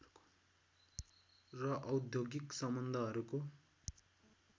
र औद्योगिक सम्बन्धहरूको